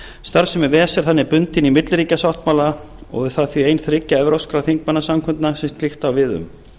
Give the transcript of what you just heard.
starfsemi ves er þannig bundin í milliríkjasáttmála og er það því ein þriggja evrópskra þingmannasamkundna sem slíkt á við um